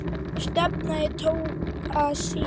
Stefnið tók að síga.